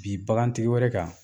Bin bagantigi wɛrɛ kan